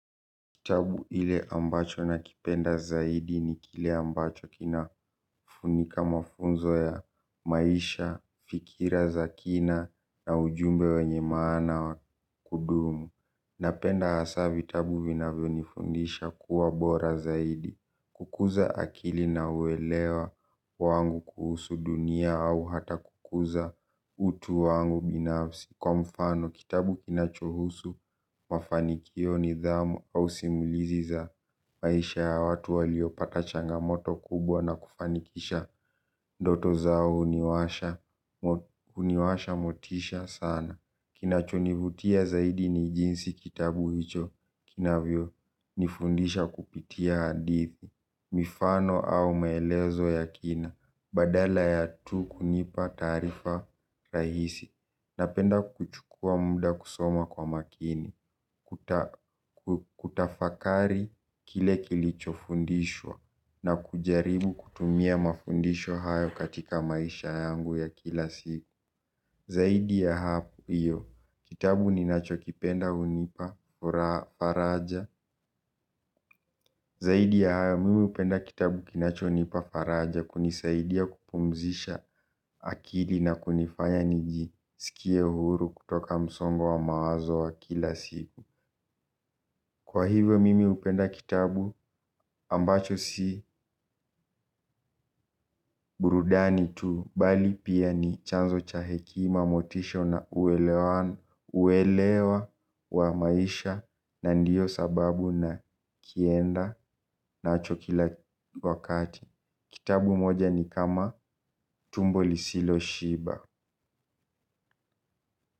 Kitabu ile ambacho na kipenda zaidi ni kile ambacho kina funika mafunzo ya maisha, fikira za kina na ujumbe we nyemaana wa kudumu. Napenda hasavi tabu vina vyonifundisha kuwa bora zaidi. Kukuza akili na uelewa wangu kuhusu dunia au hata kukuza utu wangu binafsi. Kwa mfano, kitabu kinachohusu mafanikio ni dhamu au simulizi za maisha ya watu waliopata changamoto kubwa na kufanikisha ndoto zao huniwasha motisha sana. Kina chonivutia zaidi ni jinsi kitabu hicho kinavyo nifundisha kupitia hadithi. Mifano au maelezo ya kina, badala ya tu kunipa taarifa rahisi. Napenda kuchukua muda kusoma kwa makini, kutafakari kile kilicho fundishwa na kujaribu kutumia mafundisho hayo katika maisha yangu ya kila siku. Zaidi ya hapo iyo, kitabu ni nacho kipenda hunipa faraja. Zaidi ya hayo, mimi hupenda kitabu kinacho nipa faraja kunisaidia kupumzisha akili na kunifanya niji sikie huru kutoka msongo wa mawazo wa kila siku. Kwa hivyo mimi hupenda kitabu ambacho si burudani tu bali pia ni chanzo cha hekima motisha na uelewa wa maisha na ndiyo sababu na kienda na cho kila wakati. Kitabu moja ni kama tumbo lisilo shiba.